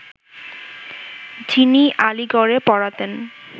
যিনি আলীগড়ে পড়াতেন